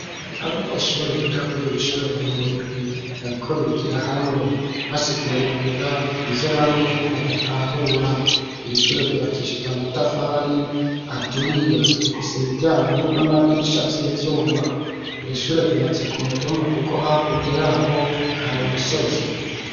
Abanyeshure biga kuri iri shure bari mu migwi bariko bigira hamwe basiguriranira ivyo bamwe badatahura iri shure ryubakishije amatafari aturiye rifise imiryango n'amadirisha vy'ivyuma iri shure ryubatse ku mutumba kuko hakurya yaho hari umusozi.